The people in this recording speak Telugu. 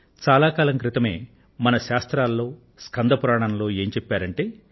కానీ శతాబ్దాల క్రితమే మన ప్రాచీన పాఠాలలో స్కంద పురాణంలో ఏమని ప్రస్తావించారంటే